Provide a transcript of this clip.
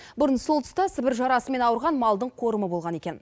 бұрын сол тұста сібір жарасымен ауырған малдың қорымы болған екен